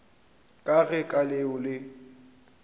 ka ge ka leo le